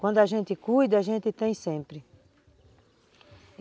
Quando a gente cuida, a gente tem sempre.